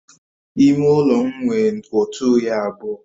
Ime ụlọ m nwe otu oyi abụọ